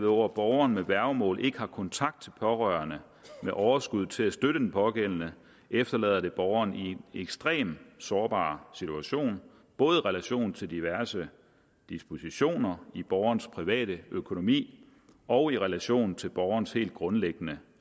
hvor borgeren med værgemål ikke har kontakt til pårørende med overskud til at støtte den pågældende efterlader det borgeren i en ekstremt sårbar situation både i relation til diverse dispositioner i borgerens private økonomi og i relation til borgerens helt grundlæggende